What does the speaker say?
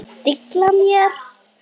Dilla mér.